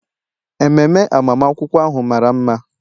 Ememe agbamakwụkwọ ahụ mara mma.